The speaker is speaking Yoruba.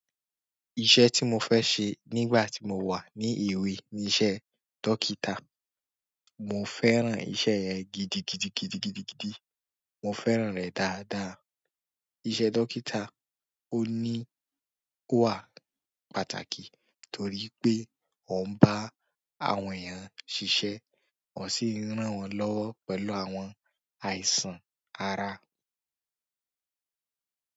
Iṣẹ́ tí mo fẹ́ ṣe nígbà tí mo wà ní èwe ní iṣẹ́ dókítà. Mo fẹ́ràn iṣẹ́ yẹn gídìgidìgidìgidí. Mo fẹ́ràn rẹ̀ dáadáa. Iṣẹ́ dókítà ò ní, ó wà pàtàkì torí pé ó ń bá àwọn èèyàn ṣíṣe, ó sì ń ràn wọ́n lọ́wọ́ pẹ̀lú àwọn àìsàn ara.